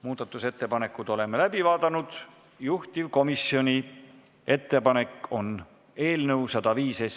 Muudatusettepanekud oleme läbi vaadanud, juhtivkomisjoni ettepanek on eelnõu 105 teine lugemine lõpetada.